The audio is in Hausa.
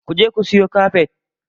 Ku je ku siyo kafet.